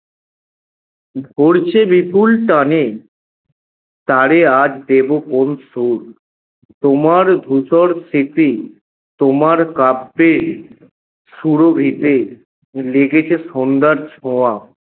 ভরছে বিপুল টানে তারে আজ দেবো কোন সুর? তোমার ধূসর স্মৃতি, তোমার কাব্যে সুরভিতে লেগেছে সন্ধ্যার ছোঁয়া